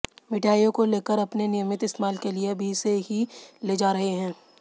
मिठाइयों को लेकर अपने नियमित इस्तेमाल के लिए अभी से ही ले जा रहे हैं